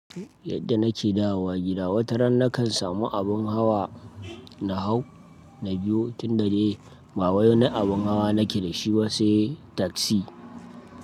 Yadda nake dawowa gida, wata ran nakan samu abin hawa na hau na biyo, tunda dai ba wai wani abin hawa nake da shi ba se taksi.